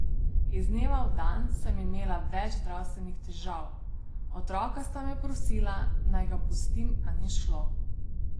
Iz dneva v dan sem imela več zdravstvenih težav, otroka sta me prosila, naj ga pustim, a ni šlo.